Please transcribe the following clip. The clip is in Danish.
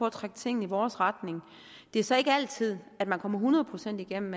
at trække ting i vores retning det er så ikke altid man kommer hundrede procent igennem